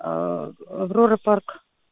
аврора парк